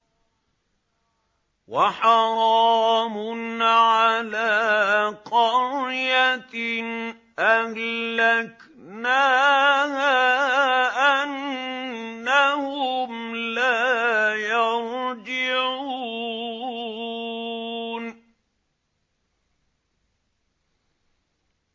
وَحَرَامٌ عَلَىٰ قَرْيَةٍ أَهْلَكْنَاهَا أَنَّهُمْ لَا يَرْجِعُونَ